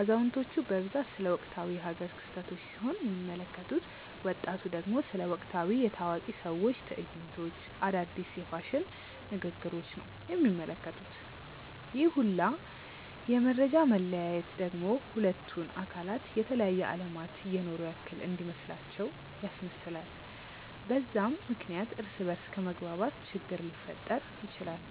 አዛውንቲቹ በብዛት ስለ ወቅታዊ የ ሃገር ክስተቶች ሲሆን የሚመለከቱት፤ ወጣቱ ደግሞ ስለ ወቅታዊ የ ታዋቂ ሰዎች ትዕይንቶች፣ አዳዲስ የ ፋሽን ንግግሪች ነው የሚመለከቱት፤ ይህ ሁላ የ መፈጃ መለያየት ደግሞ ሁለቱን አካላት የተለያየ አለማት እየኖሩ ያክል እንዲመስላቸው ያስመስላል፤ በዛም ምክንያት እርስ በ እርስ ከመግባባት ችግር ሊፈጠር ይችላል።